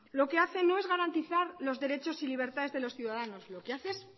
lo que hace no es garantizar los derechos y libertades de los ciudadanos lo que hace es